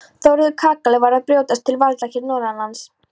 Þórður kakali var að brjótast til valda hér norðanlands.